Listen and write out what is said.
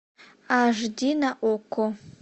аш ди на окко